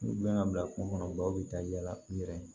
U bɛna bila kungo kɔnɔ dɔw bɛ taa yala u yɛrɛ ye